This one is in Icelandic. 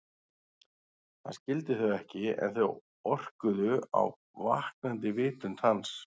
Hann skildi þau ekki en þau orkuðu á vaknandi vitund hans.